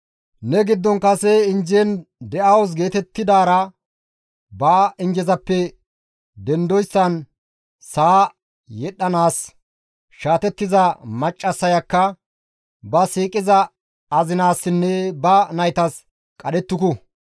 Ne giddon kase injjen de7awus geetettidaara ba injje duussafe dendoyssan sa7a yedhdhanaas shaatettiza maccassayakka ba siiqiza azinaassinne ba naytas qadhettuku.